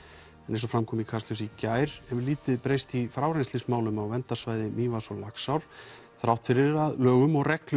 eins og fram kom í Kastljósi í gær hefur lítið breyst í frárennslismálum á verndarsvæði Mývatns og Laxár þrátt fyrir að lögum og reglum